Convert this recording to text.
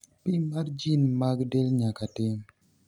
pim mar jin mag del nyaka tim